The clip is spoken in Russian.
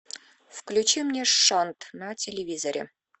включи мне шонт на телевизоре